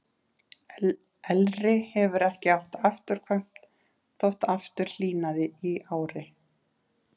Elri hefur ekki átt afturkvæmt þótt aftur hlýnaði í ári.